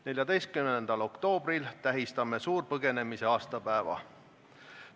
14. oktoobril tähistame suurpõgenemise aastapäeva.